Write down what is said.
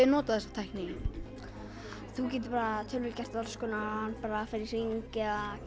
notað þessa tækni í þú getur gert alls konar farið í hring eða